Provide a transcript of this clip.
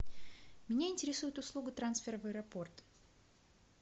меня интересует услуга трансфера в аэропорт